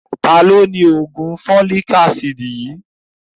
Taani òni oògùn folic-acid yìí